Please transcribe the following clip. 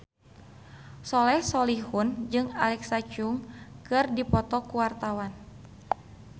Soleh Solihun jeung Alexa Chung keur dipoto ku wartawan